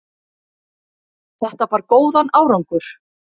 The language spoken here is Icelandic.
Þetta bar góðan árangur.